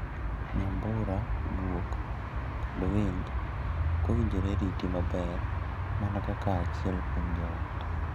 Nyambura, guok, kod winj ot owinjore riti maber mana kaka achiel kuom joot.